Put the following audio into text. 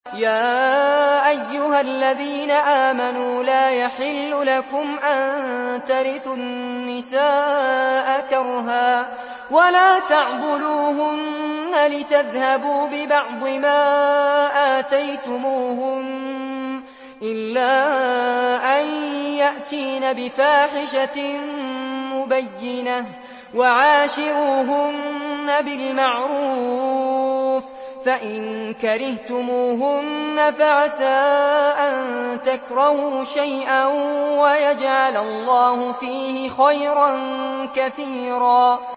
يَا أَيُّهَا الَّذِينَ آمَنُوا لَا يَحِلُّ لَكُمْ أَن تَرِثُوا النِّسَاءَ كَرْهًا ۖ وَلَا تَعْضُلُوهُنَّ لِتَذْهَبُوا بِبَعْضِ مَا آتَيْتُمُوهُنَّ إِلَّا أَن يَأْتِينَ بِفَاحِشَةٍ مُّبَيِّنَةٍ ۚ وَعَاشِرُوهُنَّ بِالْمَعْرُوفِ ۚ فَإِن كَرِهْتُمُوهُنَّ فَعَسَىٰ أَن تَكْرَهُوا شَيْئًا وَيَجْعَلَ اللَّهُ فِيهِ خَيْرًا كَثِيرًا